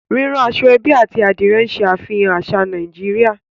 Rírán aṣọ-ẹ́bí àti Adìrẹ̀ ń ṣàfihàn àṣà Nàìjíríà